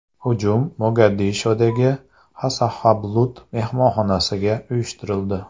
Hujum Mogadishodagi Nasahablood mehmonxonasiga uyushtirildi.